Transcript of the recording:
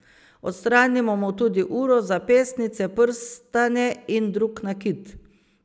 Odstranimo mu tudi uro, zapestnice, prstane in drug nakit.